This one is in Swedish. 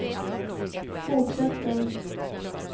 fortsätter